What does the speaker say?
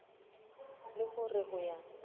le ho re ho ya